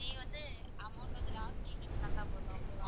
நீங்க வந்து amount வந்து last எங்களுக்கு தந்தா போதும்.